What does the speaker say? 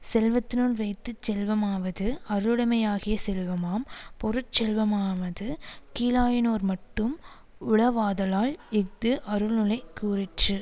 செல்வத்துனுள் வைத்து செல்வமாவது அருளுடைமையாகிய செல்வமாம் பொருட்செல்வமானது கீழாயினோர்மட்டும் உளவாதலால் இஃது அருள்நுலை கூறிற்று